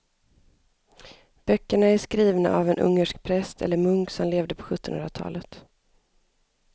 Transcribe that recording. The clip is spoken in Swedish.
Böckerna är skrivna av en ungersk präst eller munk som levde på sjuttonhundratalet.